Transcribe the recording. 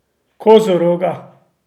Kozoroga!